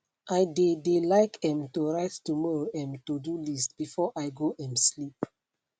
i de de like um to write tomorrow um todo list before i go um sleep